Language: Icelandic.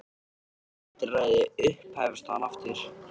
Þetta er lítilræði upphefst hann aftur.